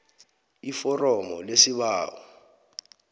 iforomo lesibawo